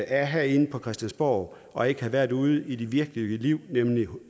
er herinde på christiansborg og ikke har været ude i det virkelige liv nemlig